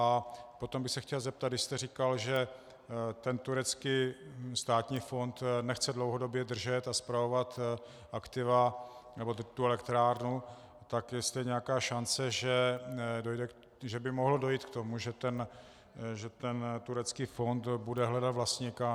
A potom bych se chtěl zeptat, když jste říkal, že ten turecký státní fond nechce dlouhodobě držet a spravovat aktiva nebo tu elektrárnu, tak jestli je nějaká šance, že by mohlo dojít k tomu, že ten turecký fond bude hledat vlastníka.